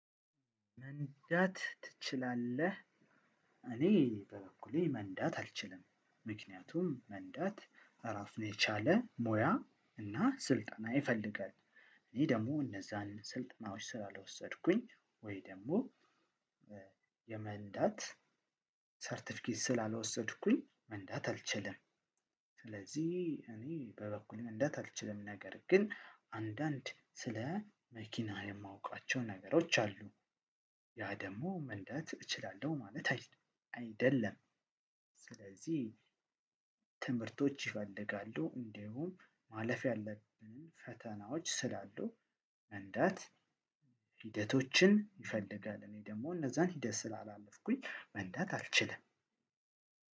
መንዳት ትችላለህ? እኔ በበኩሌ መንዳት አልችልም ምክንያቱም መንዳት እራሱን የቻለ ሞያ እና ስልጠና ይፈልጋል እኔ ደግሞ እነዛን ስልጠናዎች ስላልወሰድኩኝ ወይ ደግሞ የመንዳት ሰርተፍኬት ስላልወሰድኩኝ መንዳት አልችልም። ስለዚህ እኔ በበኩሌ መንዳት አልችልም ነገር ግን አንዳንድ ስለ መኪና የማውቃቸው ነገሮች አሉ። ያ ደግሞ መንዳት እችላለሁ ማለት አይደለም። ስለዚህ ትምህርቶች ይፈልጋሉ እንዲሁም ማለፍ ያለብንን ፈተናዎች ስላሉ መንዳት ሂደቶችን ይፈልጋል። እኔ ደግሞ እነዛን ሂደት ስላላለፍኩኝ መንዳት አልችልም።